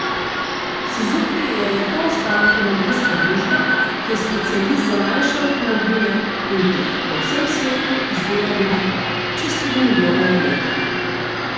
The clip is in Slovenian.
Suzuki je japonska avtomobilska družba, ki je specialist za manjše avtomobile, in teh po vsem svetu izdela veliko, čez tri milijone na leto.